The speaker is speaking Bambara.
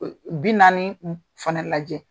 Bi naani fana lajɛ.